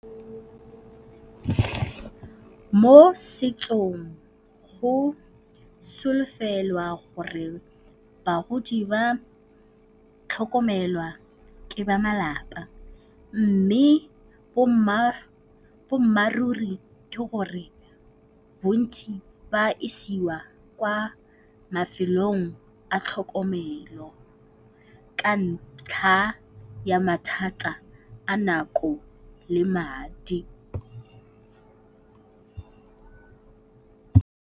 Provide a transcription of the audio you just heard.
Mo setsong go solofelwa gore bagodi ba tlhokomelwa ke ba malapa mme boammaruri ke gore bontsi ba isiwa kwa mafelong a tlhokomelo ka ntlha ya mathata a nako le madi.